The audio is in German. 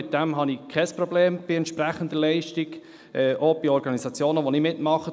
Damit habe ich kein Problem, wenn die Leistung entsprechend ist, auch bei Organisationen, bei denen ich mitmache.